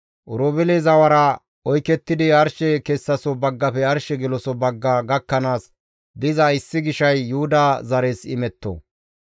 Oroobeele zawara oykettidi arshe kessaso baggafe arshe geloso bagga gakkanaas diza issi gishay Yuhuda zares imetto.